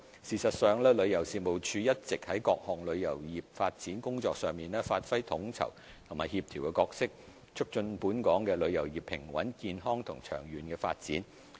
事實上，旅遊事務署一直在各項旅遊業發展工作上發揮統籌及協調角色，促進本港旅遊業平穩、健康及長遠發展。